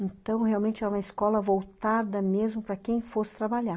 Então, realmente era uma escola voltada mesmo para quem fosse trabalhar.